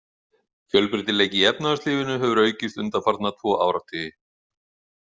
Fjölbreytileiki í efnahagslífinu hefur aukist undanfarna tvo áratugi.